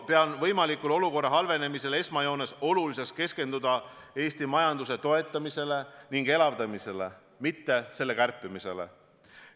Pean olukorra halvenemise korral esmajoones oluliseks keskenduda Eesti majanduse toetamisele ning elavdamisele, mitte selle kärpimisele.